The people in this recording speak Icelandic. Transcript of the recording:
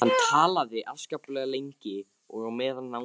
Hann talaði afskaplega lengi og á meðan náði